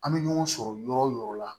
An bɛ ɲɔgɔn sɔrɔ yɔrɔ o yɔrɔ la